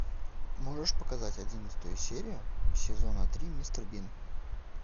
можешь показать одиннадцатую серию сезона три мистер бин